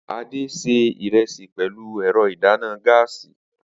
Ade sè ìrẹsì pẹ̀lú ẹ̀rọ ìdáná gáàsì